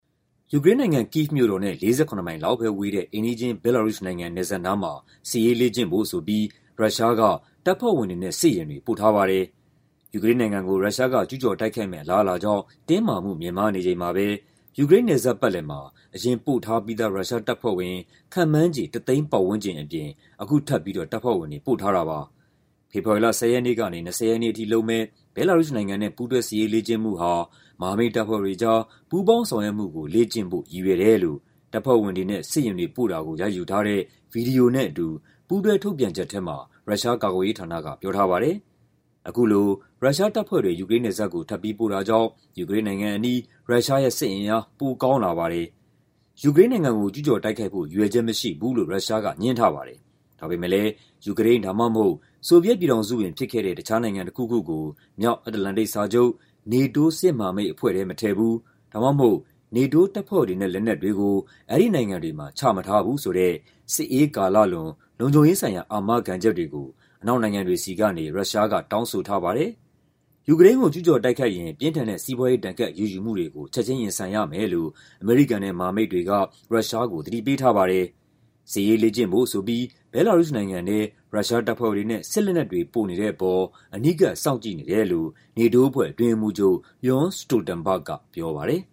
ယူကရိန်းနိုင်ငံ၊ Kyiv မြို့တော်နဲ့ ၄၇ မိုင်လောက်ပဲဝေးတဲ့ အိမ်နီးချင်း ဘဲလာရုစ်နိုင်ငံ နယ်စပ်နားမှာ စစ်ရေးလေ့ကျင့်ဖို့ဆိုပြီး ရုရှားက တပ်ဖွဲ့ဝင်တွေနဲ့ စစ်ယာဉ်တွေ ပို့ထားပါတယ်။ ယူကရိန်းနိုင်ငံကို ရုရှားက ကျူးကျော်တိုက်ခိုက်မယ့် အလားအလာကြောင့် တင်းမာမှု မြင့်မားနေချိန်မှာပဲ ယူကရိန်းနယ်စပ်ပတ်လည်မှာ အရင်ပို့ထားပြီးသား ရုရှားတပ်ဖွဲ့ဝင် ခန့်မှန်းခြေ ၁ သိန်းပတ်ဝန်းကျင်အပြင် အခုထပ်ပြီး တပ်ဖွဲ့ဝင်တွေ ပို့ထားတာပါ။ ဖေဖော်ဝါရီ ၁၀ ရက်နေ့ကနေ ၂၀ ရက်နေ့အထိလုပ်မယ့် ဘဲလာရုစ်နိုင်ငံနဲ့ ပူးတွဲစစ်ရေးလေ့ကျင့်မှုဟာ "မဟာမိတ်တပ်ဖွဲ့တွေကြား ပူးပေါင်းဆောင်ရွက်မှု လေ့ကျင့်ဖို့" ရည်ရွယ်တယ်လို့ တပ်ဖွဲ့ဝင်တွေနဲ့ စစ်ယာဉ်တွေ ပို့တာကို ရိုက်ယူထားတဲ့ ဗွီဒီယိုနဲ့အတူ ပူးတွဲထုတ်ပြန်ချက်ထဲမှာ ရုရှားကာကွယ်ရေးဌာနက ပြောထားပါတယ်။ အခုလို ရုရှားတပ်ဖွဲ့တွေ ယူကရိန်းနယ်စပ်ကို ထပ်ပြီးပို့တာကြောင့် ယူကရိန်းနိုင်ငံအနီး ရုရှားရဲ့ စစ်အင်အား ပိုအားကောင်းလာပါတယ်။ ယူကရိန်းနိုင်ငံကို ကျူးကျော်တိုက်ခိုက်ဖို့ ရည်ရွယ်ချက်မရှိဘူးလို့ ရုရှားက ငြင်းထားပါတယ်။ ဒါပေမယ့်လည်း ယူကရိန်း ဒါမှမဟုတ် ဆိုဗီယက်ပြည်ထောင်စုဝင်ဖြစ်ခဲ့တဲ့ တခြားနိုင်ငံတခုခုကို မြောက်အတ္တလန္တိတ်စာချုပ် NATO စစ်မဟာမိတ်အဖွဲ့ထဲ မထည့်ဘူး ဒါမှမဟုတ် NATO တပ်ဖွဲ့တွေနဲ့ လက်နက်တွေကို အဲဒီနိုင်ငံတွေမှာ ချမထားဘူးဆိုတဲ့ စစ်အေးကာလလွန် လုံခြုံရေးဆိုင်ရာ အာမခံချက်တွေကို အနောက်နိုင်ငံတွေဆီကနေ ရုရှားက တောင်းဆိုထားပါတယ်။ ယူကရိန်းကို ကျူးကျော်တိုက်ခိုက်ရင် ပြင်းထန်တဲ့ စီးပွားရေး ဒဏ်ခတ်အရေးယူမှုတွေကို ချက်ချင်းရင်ဆိုင်ရမယ်လို့ အမေရိကန်နဲ့ မဟာမိတ်တွေက ရုရှားကို သတိပေးထားပါတယ်။ စစ်ရေးလေ့ကျင့်ဖို့ဆိုပြီး ဘဲလာရုစ်နိုင်ငံထဲ ရုရှားတပ်ဖွဲ့တွေနဲ့ စစ်လက်နက်တွေ ပို့နေတဲ့အပေါ် အနီးကပ် စောင့်ကြည့်နေတယ်လို့ NATO အဖွဲ့ အတွင်းရေးမှူးချုပ် Jens Stoltenberg က ပြောပါတယ်